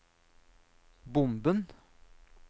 bomben